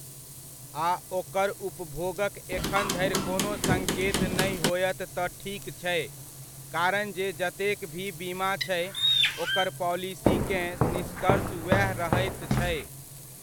आ ओकर उपभोगक एखन धरि कोनो सङ्केत नहि होयत तऽ ठीक छै, कारण जे जतेक भी बीमा छै, ओकर पाॅलिसीकेँ निष्कर्ष ओएह रहैत छै।